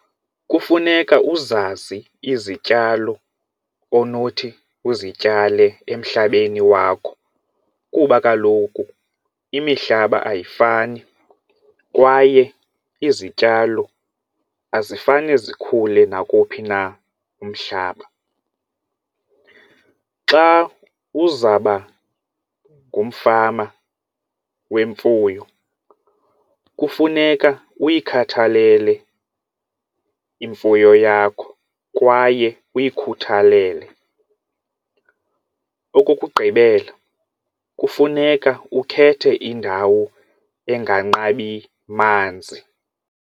Kufuneka uzazi izityalo onothi uzityale emhlabeni wakho kuba kaloku imihlaba ayifani kwaye izityalo azifane zikhule nakowuphi na umhlaba. Xa uzaba ngumfama wemfuyo kufuneka uyikhathalele imfuyo yakho kwaye uyikhuthalele. Okokugqibela, kufuneka ukhethe indawo enganqabi manzi.